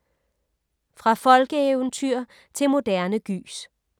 Fra folkeeventyr til moderne gys